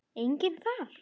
Enginn þar.